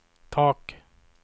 tak